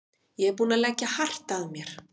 Ég er búinn að leggja hart að mér.